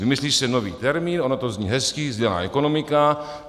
Vymyslí se nový termín, ono to zní hezky - sdílená ekonomika.